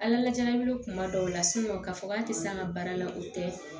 Ala ɲɛnabi kuma dɔw la ka fɔ k'an te se an ŋa baara la o tɛ